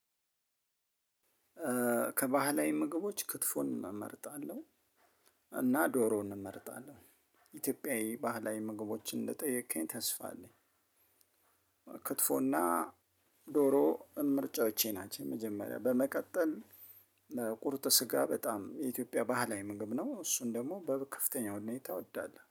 ከባህላዊ ምግቦች ክትፎን እመርጣለሁ። እና ዶሮ እንመርጣለሁ። ኢትዮጵያዊ ባህላዊ ምግቦችን እንደጠየከኝ ተስፋ አለኝ። ክትፎና ዶሮ ምርጫዎቼ ናቸው። መጀመሪያ በመቀጠል ቁርጥ ስጋ በጣም የኢትዮጵያ ባህላዊ ምግብ ነው። እሱን ደግሞ በከፍተኛ ሁኔታ እወዳለሁ